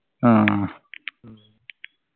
ആഹ്